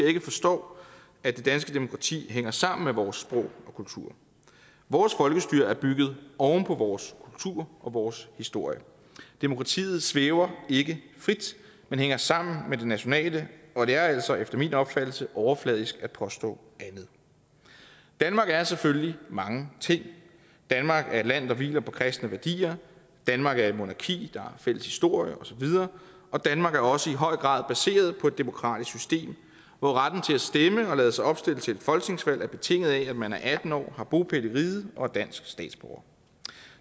ikke forstår at det danske demokrati hænger sammen med vores sprog og kultur vores folkestyre er bygget oven på vores kultur og vores historie demokratiet svæver ikke frit men hænger sammen med det nationale og det er altså efter min opfattelse overfladisk at påstå andet danmark er selvfølgelig mange ting danmark er et land der hviler på kristne værdier danmark er et monarki der har fælles historie og så videre og danmark er også i høj grad baseret på et demokratisk system hvor retten til at stemme og lade sig opstille til et folketingsvalg er betinget af at man er atten år har bopæl i riget og er dansk statsborger